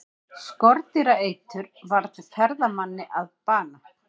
Skordýraeitur varð ferðamanni að bana